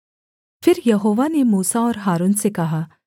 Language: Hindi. फिर यहोवा ने मूसा और हारून से कहा